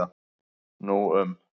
Nú um